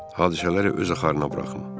Hadisələri öz axarına buraxım.